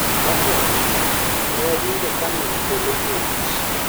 ' Mokwongo, ne wawinjo ka mil polo muoch.